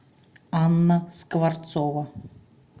анна скворцова